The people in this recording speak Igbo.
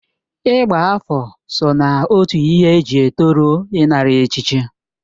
Ịgba afọ so na otu ihe eji etoru ịnara echichi.